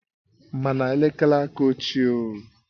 Mana elekere aka ochie o